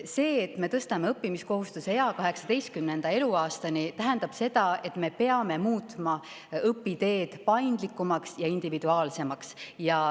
See, et me tõstame õppimiskohustuse ea 18. eluaastani, tähendab seda, et me peame muutma õpiteed paindlikumaks ja individuaalsemaks.